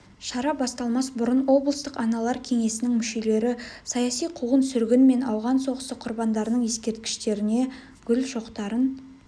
шара басталмас бұрын облыстық аналар кеңесінің мүшелері саяси қуғын-сүргін мен ауған соғысы құрбандарының ескерткіштеріне гүл шоқтарын